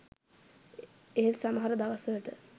ඒත් සමහර දවස්වලට